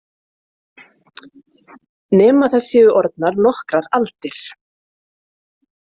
Nema það séu orðnar nokkrar aldir.